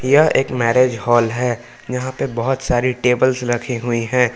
यह एक marriage hall है यहां पे बहुत सारी टेबल्स रखी हुई है।